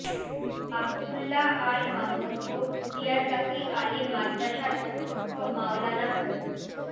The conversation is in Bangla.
আব্দুল্লা আল মামুন ও ভুটিয়ারগাতী আলিম মাদ্রাসার অধ্যক্ষ মাওলানা মো